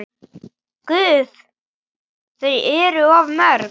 Guð, þau eru of mörg.